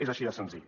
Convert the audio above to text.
és així de senzill